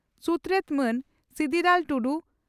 ᱥᱩᱛᱨᱮᱛ ᱢᱟᱱ ᱥᱤᱫᱤᱞᱟᱞ ᱴᱩᱰᱩ